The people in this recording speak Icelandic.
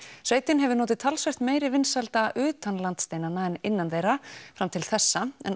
sveitin hefur notið talsvert meiri vinsælda utan landsteinanna en innan þeirra fram til þessa en